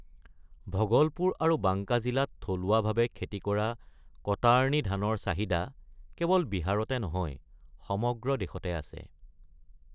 ভগলপুৰ আৰু বাংকা জিলাত থলুৱাভাৱে খেতি কৰা কটাৰ্নী ধানৰ চাহিদা কেৱল বিহাৰতে নহয় সমগ্ৰ দেশতে আছে।